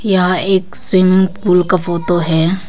यहां एक swimming pool का फोटो है।